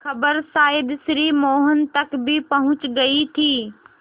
खबर शायद श्री मोहन तक भी पहुँच गई थी